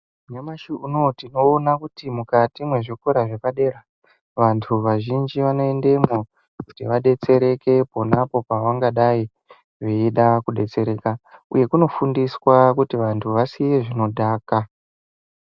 Nyamashi unowu tinoona kuti mukati mezvikora zvepadera, vantu vazhinji vanoendemwo kuti vadetsereke ponapo pavangadai veida kudetsereka, uye kunofundiswa kuti vantu vasiye zvinodhaka.